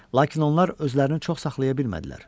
Lakin onlar özlərini çox saxlaya bilmədilər.